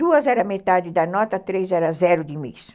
Duas era metade da nota, três era zero de